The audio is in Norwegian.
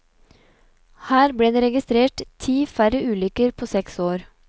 Her ble det registrert ti færre ulykker på seks år.